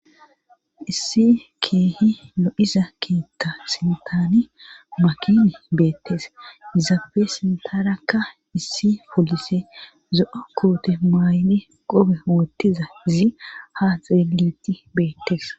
Issi keehi no7iza keeta sintaani makini beettese izappe sintarakka issi poolise zo7o koote mayni gobe wottizazi ha xeeliti beettes.